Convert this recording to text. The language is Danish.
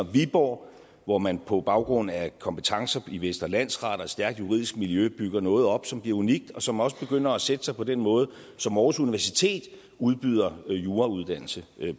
viborg hvor man på baggrund af kompetencer i vestre landsret og et stærkt juridisk miljø bygger noget op som bliver unikt og som også begynder at sætte sig på den måde som aarhus universitet udbyder jurauddannelse